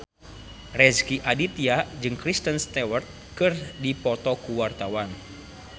Rezky Aditya jeung Kristen Stewart keur dipoto ku wartawan